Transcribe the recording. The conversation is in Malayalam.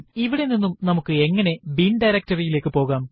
ഇവിടെ നിന്ന് നമുക്ക് എങ്ങനെ ബിൻ directoryറി യിലേക്ക് പോകാം